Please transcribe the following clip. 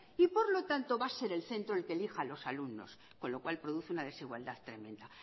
y por lo tanto va a ser el centro el que elijan a los alumnos con lo cual produce una desigualdad tremenda